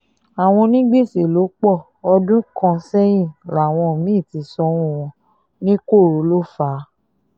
àwọn onígbèsè ló pọ ọdún kan sẹ́yìn làwọn mí-ín ti sanwó wọn ní koro ló fà á